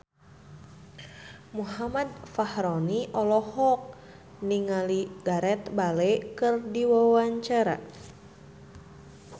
Muhammad Fachroni olohok ningali Gareth Bale keur diwawancara